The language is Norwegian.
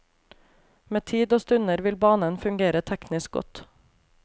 Med tid og stunder vil banen fungere teknisk godt.